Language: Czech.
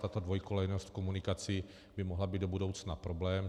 Tato dvojkolejnost komunikací by mohla být do budoucna problém.